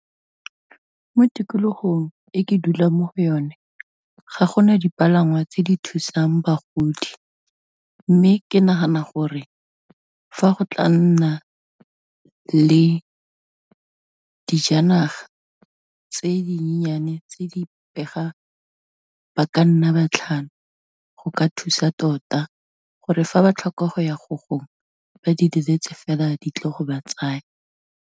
Mo tikologong e ke dulang mo go yone, ga gona dipalangwa tse di thusang bagodi mme, ke nagana gore fa go tla nna le dijanaga tse dinyenyane tse di pega, ba ka nna ba tlhano go ka thusa tota gore fa ba tlhoka go ya go gongwe, ba di leletse fela di tle go ba tsaya.